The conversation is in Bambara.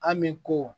An min ko